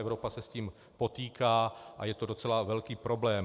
Evropa se s tím potýká a je to docela velký problém.